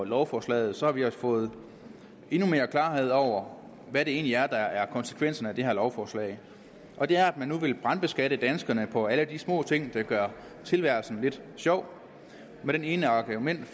lovforslaget har vi fået endnu mere klarhed over hvad det egentlig er der er konsekvensen af det her lovforslag og det er at man nu vil brandskatte danskerne på alle de små ting der gør tilværelsen lidt sjov med det ene argument